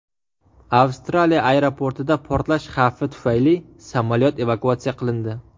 Avstraliya aeroportida portlash xavfi tufayli samolyot evakuatsiya qilindi.